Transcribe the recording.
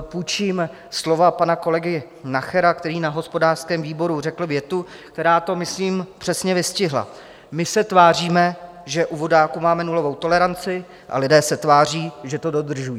půjčím slova pana kolegy Nachera, který na hospodářském výboru řekl větu, která to myslím přesně vystihla: My se tváříme, že u vodáků máme nulovou toleranci a lidé se tváří, že to dodržují.